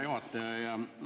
Hea juhataja!